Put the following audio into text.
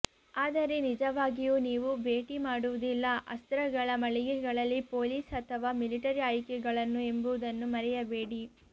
ಆದರೆ ನಿಜವಾಗಿಯೂ ನೀವು ಭೇಟಿ ಮಾಡುವುದಿಲ್ಲ ಅಸ್ತ್ರಗಳ ಮಳಿಗೆಗಳಲ್ಲಿ ಪೊಲೀಸ್ ಅಥವಾ ಮಿಲಿಟರಿ ಆಯ್ಕೆಗಳನ್ನು ಎಂಬುದನ್ನು ಮರೆಯಬೇಡಿ